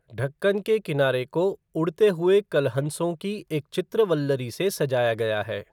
ढक्कन के किनारे को उड़ते हुए कलहंसों के एक चित्रवल्लरी से सजाया गया है।